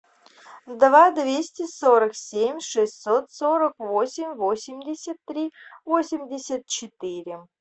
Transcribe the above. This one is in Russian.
два двести сорок семь шестьсот сорок восемь восемьдесят три восемьдесят четыре